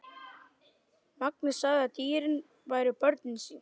Mangi sagði að dýrin væru börnin sín.